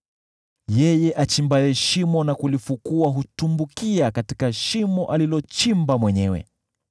Yeye achimbaye shimo na kulifukua hutumbukia katika shimo alilochimba mwenyewe.